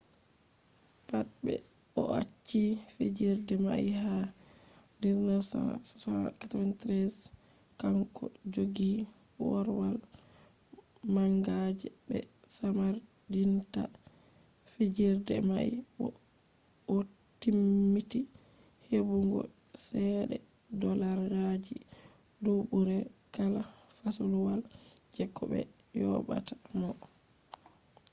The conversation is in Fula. pat ɓe o'acci fijirde mai ha 1993 kanko joggi korwal manga je be samardinta fijirde mai bo o'timmiti heɓugo ceede dollarji duubure kala fasluwal je ko be yobata mo